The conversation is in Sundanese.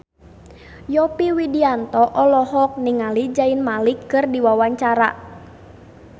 Yovie Widianto olohok ningali Zayn Malik keur diwawancara